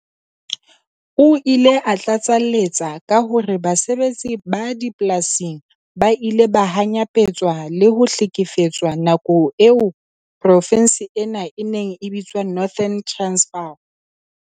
O ile a tlatsaletsa ka hore basebetsi ba dipolasing ba ile ba hanyapetswa le ho hlekefetswa nakong eo profense ena e neng e bitswa Northern Transvaal.